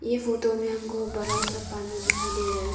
ये फोटो में हमें बड़ा सा पानी दिखाई दे रहा है।